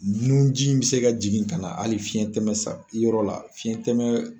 Nun ji bɛ se ka jigin ka na hali fiɲɛ tɛmɛ yɔrɔ la fiɲɛ tɛmɛ